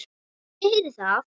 Ég heyri það.